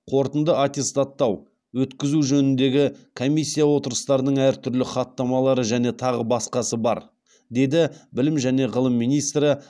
қорытынды аттестаттау өткізу жөніндегі комиссия отырыстарының әртүрлі хаттамалары және тағы басқасы бар деді білім және ғылым министрі